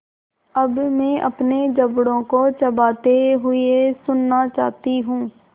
अब मैं अपने जबड़ों को चबाते हुए सुनना चाहती हूँ